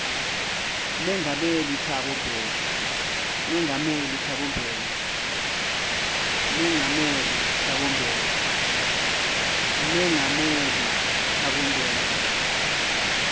mengameli thabo mbeki